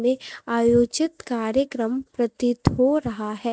मे आयोजित कार्यक्रम प्रतीत हो रहा है।